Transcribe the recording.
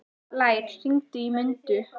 Blær, hringdu í Mundu.